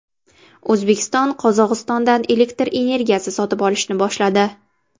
O‘zbekiston Qozog‘istondan elektr energiya sotib olishni boshladi.